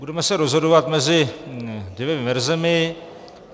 Budeme se rozhodovat mezi dvěma verzemi.